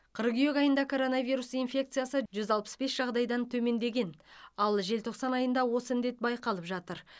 қыркүйек айында коронавирус инфекциясы жүз алпыс бес жағдайдан төмендеген ал желтоқсан айында осы індет байқалып жатыр